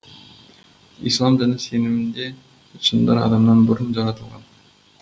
ислам діні сенімінде жындар адамнан бұрын жаратылған